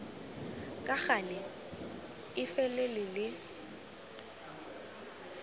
ka gale e felele le